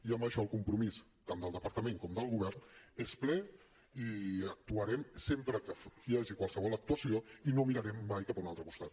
i en això el compromís tant del departament com del govern és ple i actuarem sempre que hi hagi qualsevol actuació i no mirarem mai cap a un altre costat